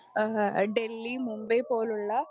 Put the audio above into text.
speaker 1 ഏഹ് ഡല്ലി മുംബൈ പോലുള്ള